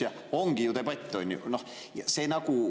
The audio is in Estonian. Ja ongi ju debatt!